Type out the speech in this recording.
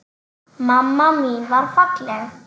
Mamma mín var falleg.